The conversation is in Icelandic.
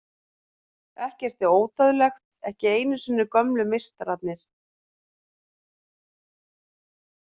Ekkert er ódauðlegt, ekki einu sinni gömlu meistararnir.